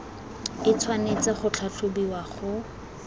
e tshwanetse go tlhatlhobiwa go